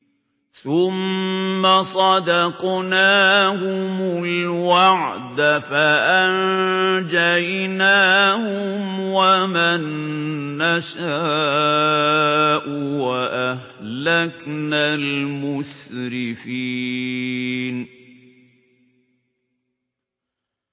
ثُمَّ صَدَقْنَاهُمُ الْوَعْدَ فَأَنجَيْنَاهُمْ وَمَن نَّشَاءُ وَأَهْلَكْنَا الْمُسْرِفِينَ